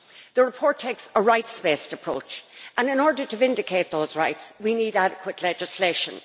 The report takes a rights based approach and in order to vindicate those rights we need adequate legislation.